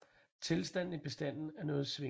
Tilstanden i bestanden er noget svingende